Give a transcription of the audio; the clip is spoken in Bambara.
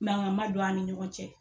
Manga ma don an ni ɲɔgɔn cɛ.